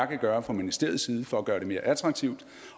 kan gøre fra ministeriets side for at gøre det mere attraktivt